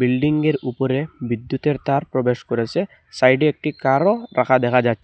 বিল্ডিংয়ের উপরে বিদ্যুতের তার প্রবেশ করেসে সাইডে একটি কারও রাখা দেখা যা--